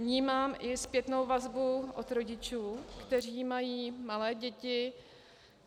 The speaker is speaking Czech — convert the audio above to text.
Vnímám i zpětnou vazbu od rodičů, kteří mají malé děti.